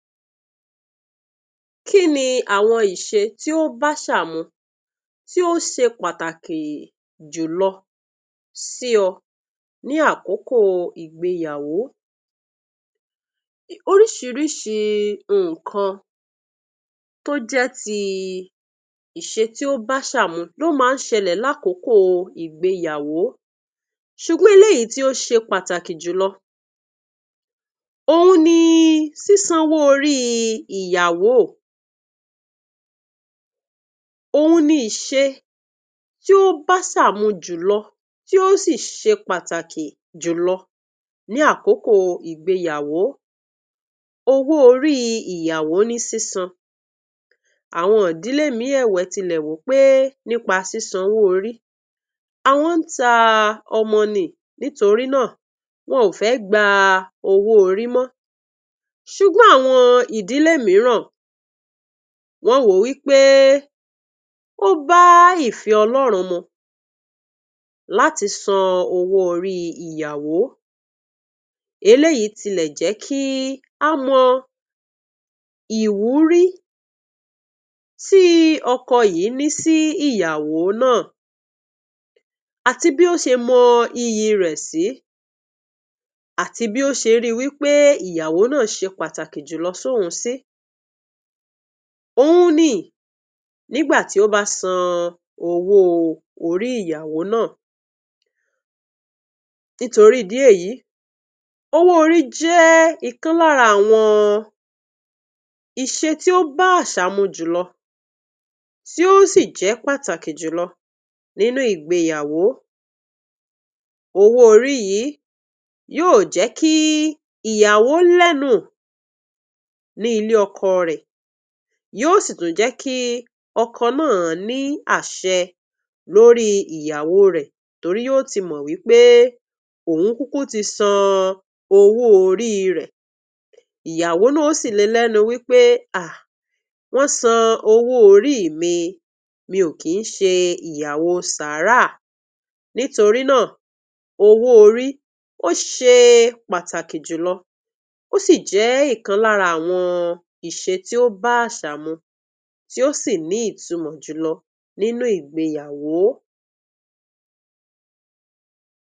Kí ni àwọn ìṣe tí ó báṣà mu, tí ó ṣe pàtàkì jùlọ sí ọ ní àkókò ìgbeyàwó? Oríṣiríṣi nǹkan tó jẹ́ ti ìṣe tí ó báṣà mu ló máa ń ṣẹlẹ̀ lákòókò ìgbeyàwó, ṣùgbọ́n eléyìí tí ó ṣe pàtàkì jùlọ òhun ni sísanwó orí ìyàwó. Òhun ni ìṣe tí ó báṣà mu jùlọ, tí ó sì ṣe pàtàkì jùlọ ní àkókò ìgbeyàwó. Owó-orí ìyàwó ní sísan. Àwọn ìdílé mìíì ẹ̀wẹ̀ tilẹ̀ wò ó pé nípa sísan owó-orí, àwọn ń ta ọmọ ni, nítorí náà, wọn ò fẹ́ gba owó-orí mọ́. Ṣùgbọ́n àwọn ìdílé mìíràn, wọ́n wò ó wí pé ó bá ìfẹ́ Ọlọ́run mu láti san owó-orí ìyàwó. Eléyìí tilẹ̀ jẹ́ kí á mọ ìwúrí tí ọkọ yìí ní sí ìyàwó náà, àti bí ó ṣe mọ iyì rẹ̀ sí, àti bí ó ṣe ríi wí pé ìyàwó náà ṣe pàtàkì jùlọ sóhun sí. Òhun ni nígbà tí ó bá san owó orí ìyàwó náà. Nítorí ìdí èyí, owó-orí jẹ́ ìkan lára àwọn iṣe tí ó bá àṣà mu jùlọ, tí ó sì jẹ́ pàtàkì jùlọ nínú ìgbeyàwó. Owó-orí yìí yóò jẹ́ kí ìyàwó lẹ́nu ní ilé ọkọ rẹ̀, yóò sì tún jẹ́ kí ọkọ náà ní àṣẹ lórí ìyàwó rẹ̀ torí yóó ti mọ̀ wí pé òun kúkú ti san owó-orí rẹ̀. Ìyàwó náà ó sì le lẹ́nu wí pé, um wọ́n san owó-orí mi, mi ò kí ń ṣe ìyàwó sàráà. Nítorí náà, owó-orí ó ṣe pàtàkì jùlọ, ó sì jẹ́ ìkan lára àwọn ìṣe tí ó bá àṣà mu, tí ó sì ní ìtumọ̀ jùlọ nínú ìgbeyàwó.